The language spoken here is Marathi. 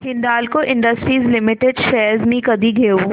हिंदाल्को इंडस्ट्रीज लिमिटेड शेअर्स मी कधी घेऊ